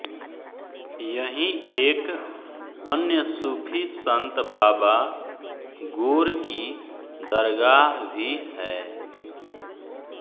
यहीं एक अन्य सूफ़ी संत बावा गोर की दरगाह भी है